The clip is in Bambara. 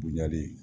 Bonya de ye